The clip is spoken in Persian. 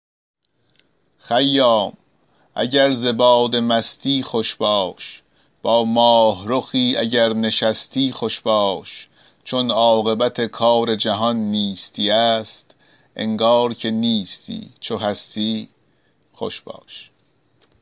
خیام اگر ز باده مستی خوش باش با ماهرخی اگر نشستی خوش باش چون عاقبت کار جهان نیستی است انگار که نیستی چو هستی خوش باش